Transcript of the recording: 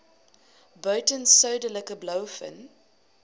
buiten suidelike blouvin